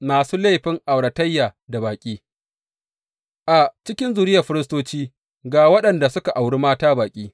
Masu laifin auratayya da baƙi A cikin zuriyar firistoci, ga waɗanda suka auri mata baƙi.